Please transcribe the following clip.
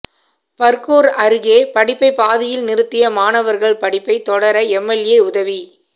பர்கூர் அருகே படிப்பை பாதியில் நிறுத்திய மாணவர்கள் படிப்பை தொடர எம்எல்ஏ உதவி